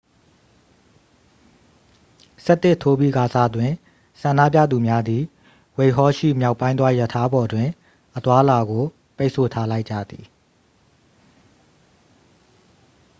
11:00 ထိုးပြီးကာစတွင် ဆန္ဒပြသူများသည် ဝှိုက်ဟောလ် ရှိ မြောက်ပိုင်းသွားရထားပေါ်တွင် အသွားအလာကို ပိတ်ဆို့ထားလိုက်ကြသည်